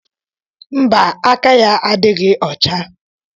mba, aka ya adịghị ọcha